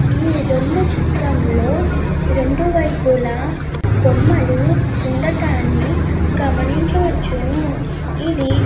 ఈ రెండు చిత్రంలో రెండు వైపులా బొమ్మలు ఉనడదాన్ని గమనించవచ్చును. ఇది --